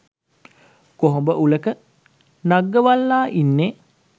කොහොඹ උලක නග්ගවලා ඉන්නේ.